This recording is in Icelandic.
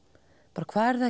bara hvað eruð